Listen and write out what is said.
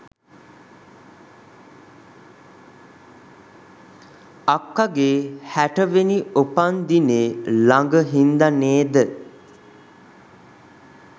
අක්කගෙ හැටවෙනි උපන්දිනේ ලඟ හින්ද නේද